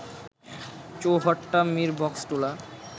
Chowhatta-Mirboxtula